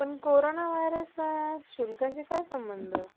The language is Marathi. घेतात. शिवाय या जगाच्या धकाधकीच्या जीवन शैलीत ते सर्वाना मानवतेचा धडा शिकवता. शिवाय